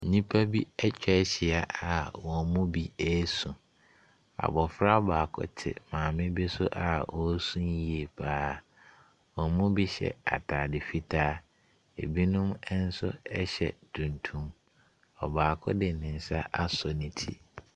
Ninipa bi atwa ahyia a wɔn mu bi resu. Abɔfra baako te maame bi so a ɔresu yie pa ara. Wɔn mu bi hyɛ atade fitaa, binom nso hyɛ tuntum. Ɔbaako de ne nsa asɔ ne ti.